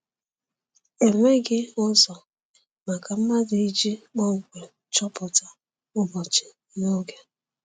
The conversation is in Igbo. Enweghị ụzọ maka mmadụ iji kpọmkwem chọpụta ụbọchị na oge.